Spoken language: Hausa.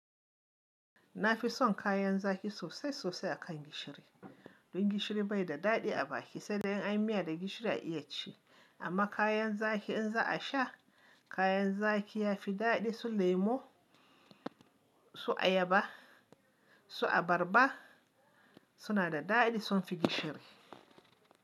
Na fi son kayan zaki sosai sosai akan gishiri. Don gishiri bai da daɗi a baki saidai in an yi miya da gishiri a iya ci. Amma kayan zaki in za a sha kayan zaki ya fi daɗi su lemo, su ayaba, su abarba suna da daɗi sun fi gishiri.